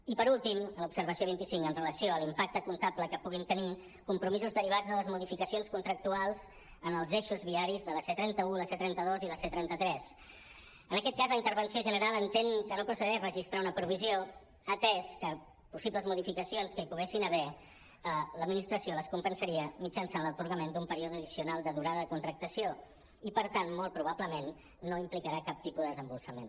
i per últim en l’observació vint cinc amb relació a l’impacte comptable que puguin tenir compromisos derivats de les modificacions contractuals en els eixos viaris de la c·trenta un la c·trenta dos i la c·trenta tres en aquest cas la intervenció general entén que no proce·deix registrar una provisió atès que possibles modificacions que hi poguessin haver l’administració les compensaria mitjançant l’atorgament d’un període addicional de durada de contractació i per tant molt probablement no implicarà cap tipus de des·emborsament